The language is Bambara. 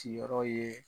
Siyɔrɔ ye